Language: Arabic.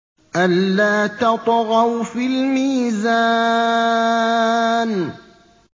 أَلَّا تَطْغَوْا فِي الْمِيزَانِ